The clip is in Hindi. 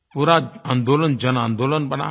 पूरा आंदोलन जनआंदोलन बना है